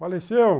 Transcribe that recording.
Faleceu?